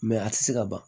a tɛ se ka ban